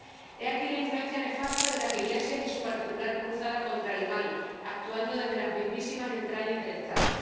He aquí la influencia nefasta de las iglesias y su particular cruzada contra el mal, actuando desde las mismísimas entrañas del Estado